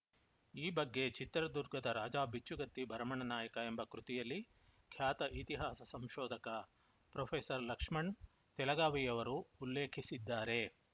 ಈ ಬಗ್ಗೆ ಚಿತ್ರದುರ್ಗದ ರಾಜಾ ಬಿಚ್ಚುಗತ್ತಿ ಭರಮಣ್ಣನಾಯಕ ಎಂಬ ಕೃತಿಯಲ್ಲಿ ಖ್ಯಾತ ಇತಿಹಾಸ ಸಂಶೋಧಕ ಪ್ರೊಫೆಸರ್ಲಕ್ಷ್ಮಣ್‌ ತೆಲಗಾವಿಯವರು ಉಲ್ಲೇಖಿಸಿದ್ದಾರೆ